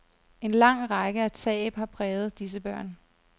En lang række af tab har præget disse børn.